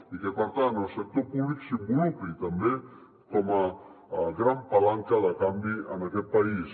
i que per tant el sector públic s’involucri també com a gran palanca de canvi en aquest país